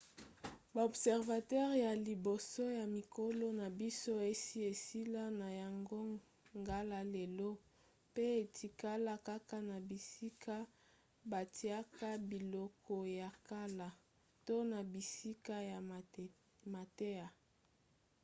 ba observatoires ya liboso ya mikolo na biso esi esila na yango ngala lelo mpe etikala kaka na bisika batiaka biloko ya kala to na bisika ya mateya